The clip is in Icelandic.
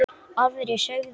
Aðrir sögðu: